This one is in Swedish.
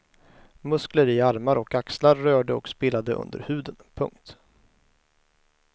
Muskler i armar och axlar rörde och spelade under huden. punkt